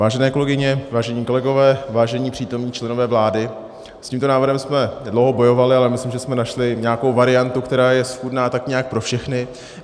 Vážené kolegyně, vážení kolegové, vážení přítomní členové vlády, s tímto návrhem jsme dlouho bojovali, ale myslím, že jsme našli nějakou variantu, která je schůdná tak nějak pro všechny.